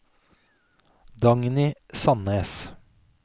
Dagny Sannes